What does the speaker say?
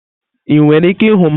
Ị nwere ike ịhụ m?